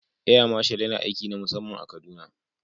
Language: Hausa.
Air Marshal yana aiki na musamman a kaduna